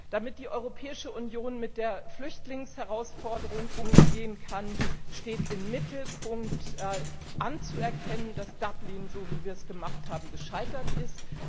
Damit die Europäische Union mit der Flüchtlingsherausforderung umgehen kann, steht im Mittelpunkt anzuerkennen, dass Dublin, so wie wir es gemacht haben, gescheitert ist.